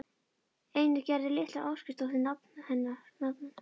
Einnig Gerður litla Ásgeirsdóttir nafna hennar.